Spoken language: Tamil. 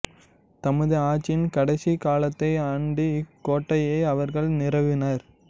தமது ஆட்சியின் கடைசிக் காலத்தை அண்டி இக் கோட்டையை அவர்கள் நிறுவினர்